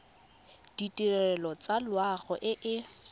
ditirelo tsa loago e e